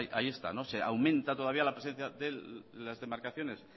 ahí está se aumenta todavía la presencia de las demarcaciones